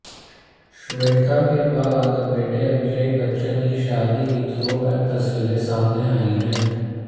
श्वेता के बाद अब बेटे अभिषेक बच्चन की शादी की थ्रोबैक तस्वीरें सामने आई हैं